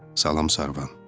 Salam Sarvan.